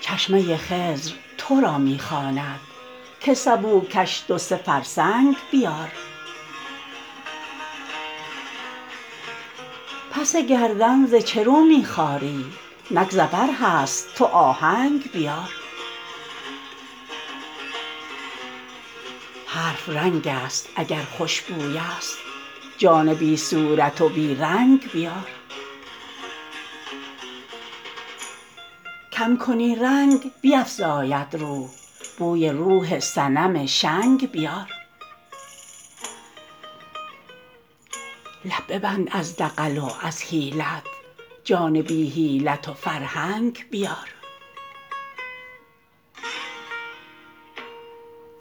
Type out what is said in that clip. چشمه خضر تو را می خواند که سبو کش دو سه فرسنگ بیار پس گردن ز چه رو می خاری نک ظفر هست تو آهنگ بیار حرف رنگست اگر خوش بویست جان بی صورت و بی رنگ بیار کم کنی رنگ بیفزاید روح بوی روح صنم شنگ بیار لب ببند از دغل و از حیلت جان بی حیلت و فرهنگ بیار